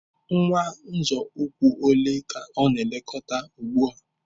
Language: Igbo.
Nwa nzọ ụkwụ ole ka ọ na-elekọta ugbu a?